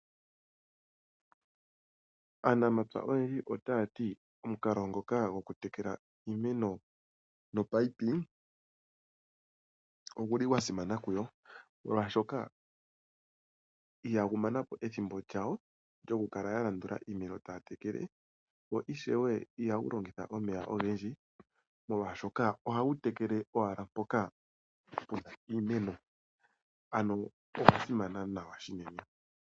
Aanamapya oyendji otaya ti omukalo ngoka gokutekela iimeno nopaipi ogu li gwa simana kuyo, molwashoka ihagu mana po ethimbo lyawo lyokukala ya landula iimeno taya tekele. Ihagu longitha omeya ogendji, molwashoka ohagu tekele owala mpoka pu na iimeno. Ano ogwa simana nawa unene.